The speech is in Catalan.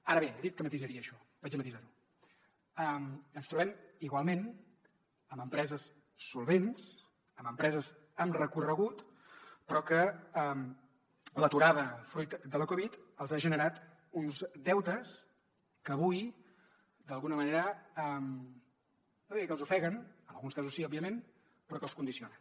ara bé he dit que matisaria això ho matiso ens trobem igualment amb empreses solvents amb empreses amb recorregut però que l’aturada fruit de la covid els ha generat uns deutes que avui d’alguna manera no diria que els ofeguen en alguns casos sí òbviament però que els condiciona